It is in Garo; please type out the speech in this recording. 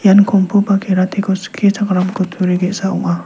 ian kongpu ba kerate ko skichakram kutturi ge·sa ong·a.